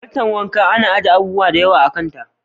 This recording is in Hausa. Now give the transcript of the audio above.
Katar wanka ana aje abubuwa da yawa a kanta.